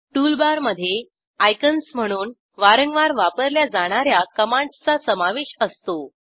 toolbar मधे icons म्हणून वारंवार वापरल्या जाणा या कमांडसचा समावेश असतो